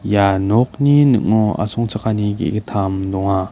ia nokni ning·o asongchakani ge·gittam donga.